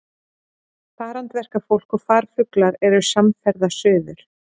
Farandverkafólk og farfuglar eru samferða suður.